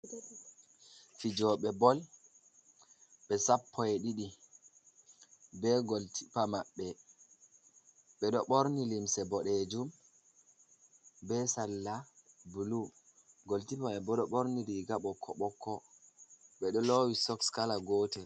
Fijooɓe bol be Sappo e ɗiɗi be gol kipa maɓɓe, ɓe ɗo ɓorni limse bodejum be salla bulu gol kipa maɓɓe bo ɗo ɓorni riiga ɓokko ɓokko ɓe ɗo lowi sok kala gootel.